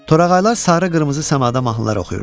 Torağaylar sarı-qırmızı səmada mahnılar oxuyurdu.